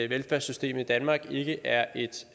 velfærdssystemet i danmark ikke er